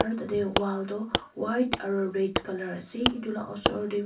utate wall toh white aru red colour ase etu la osor te.